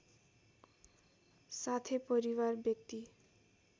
साथै परिवार व्यक्ति